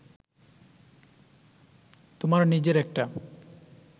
তোমার নিজের একটা